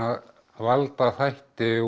valda þætti úr